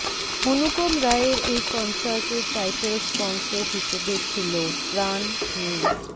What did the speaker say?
অনুপম রায়ের এই কনসার্টের টাইটেল স্পন্সর হিসেবে ছিলো প্রাণ মি